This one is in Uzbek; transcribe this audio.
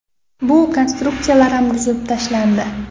Bu konstruksiyalar ham buzib tashlandi.